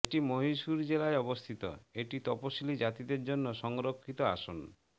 এটি মহীশূর জেলায় অবস্থিত এটি তপসিলী জাতিদের জন্য সংরক্ষিত আসন